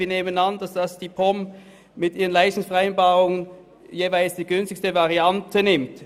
Wir nehmen an, dass die POM mit ihrer Leistungsvereinbarung die jeweils günstigste Variante nimmt.